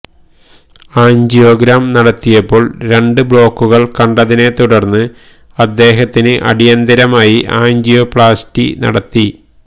angiogram നടത്തിയപ്പോള് രണ്ട് ബ്ലോക്കുകള് കണ്ടതിനെ തുടര്ന്ന് അദ്ദേഹത്തിന് അടിയന്തരമായി ആന്ജിയോപ്ലാസ്റ്റി നടത്തി